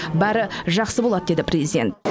бәрі жақсы болады деді президент